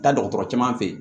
Taa dɔgɔtɔrɔ caman fɛ yen